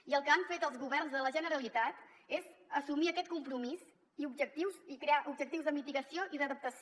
i el que han fet els governs de la generalitat és assumir aquest compromís i objectius i crear objectius de mitigació i d’adaptació